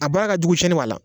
A baara ka jugu sɛni b'a la